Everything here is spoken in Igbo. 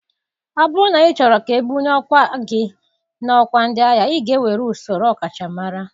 Ọ bụrụ na ịchọrọ ka ebuli ọkwa gị n'ọkwa ndị agha, ị ga-ewere usoro ọkachamara.